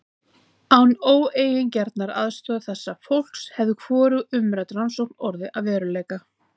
Án óeigingjarnrar aðstoðar þessa fólks hefði hvorug umrædd rannsókn orðið að veruleika.